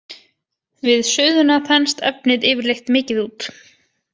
Við suðuna þenst efnið yfirleitt mikið út.